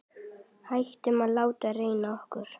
Hættum að láta ræna okkur.